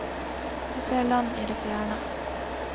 Vi ser land i det fjerne.